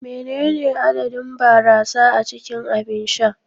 Menene adadin barasa a cikin abin sha?